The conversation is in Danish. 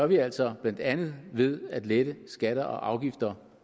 vi altså blandt andet ved at lette skatter og afgifter